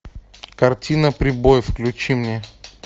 картина прибой включи мне